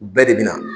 Bɛɛ de bɛ na